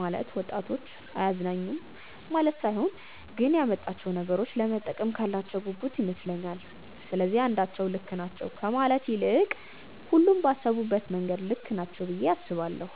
ማለት ወጣቶች አያገናዝቡም ማለት ሳይሆን ግን ጊዜው ያመጣቸውን ነገሮች ለመጠቀም ካላቸው ጉጉት ይመስለኛል። ስለዚህ አንዳቸው ልክ ናቸው ከማለት ይልቅ ሁሉም ባሰቡበት መንገድ ልክ ናቸው ብዬ አስባለሁ።